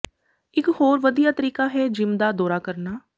ਇਕ ਹੋਰ ਵਧੀਆ ਤਰੀਕਾ ਹੈ ਜਿਮ ਦਾ ਦੌਰਾ ਕਰਨਾ